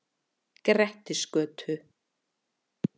Grettisgötu